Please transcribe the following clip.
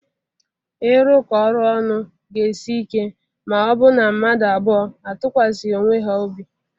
Irukọ oru ọnụ ga-esi ike ma ọ bụrụ na mmadụ abụọ atụkwasịghị onwe ha obi